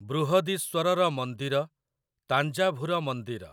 ବୃହଦୀଶ୍ୱରର ମନ୍ଦିର ତାଞ୍ଜାଭୁର ମନ୍ଦିର